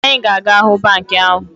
Anyị ga-aga hụ banka ahụ